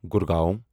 Gurgaon